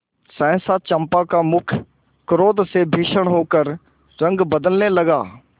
सहसा चंपा का मुख क्रोध से भीषण होकर रंग बदलने लगा